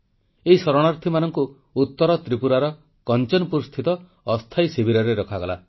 ଏଇ ଶରଣାର୍ଥୀମାନଙ୍କୁ ଉତ୍ତର ତ୍ରିପୁରାର କଂଚନପୁରସ୍ଥିତ ଅସ୍ଥାୟୀ ଶିବିରରେ ରଖାଗଲା